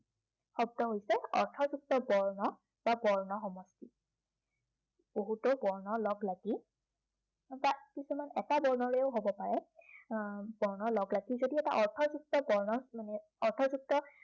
শব্দ হৈছে অৰ্থযুক্ত বৰ্ণ বা বৰ্ণ সমষ্টি। বহুতো বৰ্ণৰ লগলাগি এটা যিকোনো এটা বৰ্ণৰেও হব পাৰে। আহ বৰ্ণ লগলাগি যদি এটা অৰ্থযুক্ত বৰ্ণৰ মানে অৰ্থযুক্ত